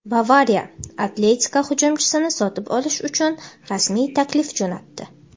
"Bavariya" "Atletiko" hujumchisini sotib olish uchun rasmiy taklif jo‘natdi;.